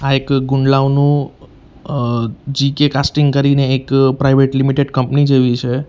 એક ગુંડલાવનું અ જી_કે કાસ્ટીંગ કરીને એક પ્રાઇવેટ લિમિટેડ કંપની જેવી છે.